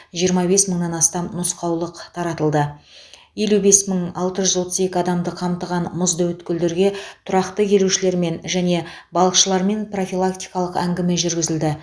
жиырма бес мыңнан астам нұсқаулық таратылды елу бес мың алты жүз отыз екі адамды қамтыған мұзды өткелдерге тұрақты келушілермен және балықшылармен профилактикалық әңгіме жүргізілді